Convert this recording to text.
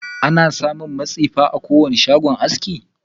Ana samun matsifa a kowane shagon aski.